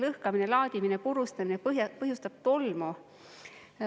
Lõhkamine, laadimine, purustamine põhjustab tolmu.